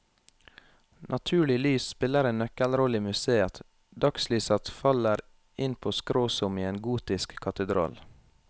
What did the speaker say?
Naturlig lys spiller en nøkkelrolle i museeet, dagslyset faller inn på skrå som i en gotisk katedral.